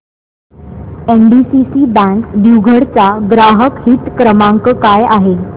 NDCC bank दिघवड चा ग्राहक हित क्रमांक काय आहे